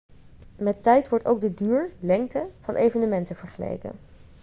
met tijd wordt ook de duur lengte van evenementen vergeleken